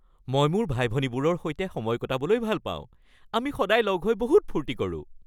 মই মোৰ ভাই-ভনীবোৰৰ সৈতে সময় কটাবলৈ ভাল পাওঁ। আমি সদায় লগ হৈ বহুত ফূৰ্তি কৰোঁ।